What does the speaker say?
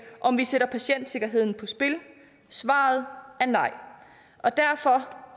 om vi sætter patientsikkerheden på spil svaret er nej og derfor